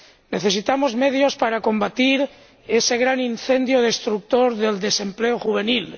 Necesitamos medios para combatir ese gran incendio destructor del desempleo juvenil.